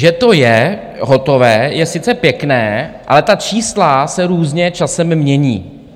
Že to je hotové, je sice pěkné, ale ta čísla se různě časem mění.